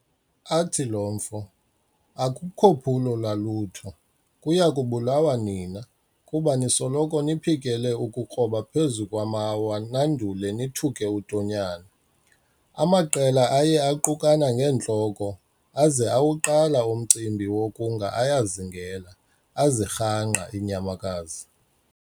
Athi lo mfo, "Akukho phulo lwalutho, kuya kubulawa nina, kuba nisoloko niphikele ukukroba phezu kwamawa nandule nithuke uTonyane.". Amaqela aye aqukana ngeentloko, aza awuqala umcimbi wokunga ayazingela, azirhangqa iinyamakazi.